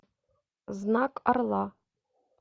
знак орла